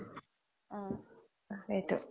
সেইটো